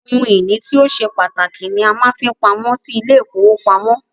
Ohun ìní tí o ṣe pàtàkì ni a máa ń fi pamọ́ sí ilé -ìfowópamọ́